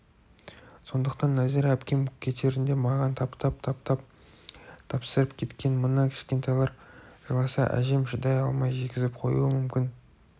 сондықтан нәзира әпкем кетерінде маған таптап-таптап тапсырып кеткен мына кішкентайлар жыласа әжем шыдай алмай жегізіп қоюы мүмкін